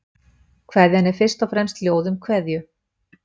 Kveðjan er fyrst og fremst ljóð um kveðju.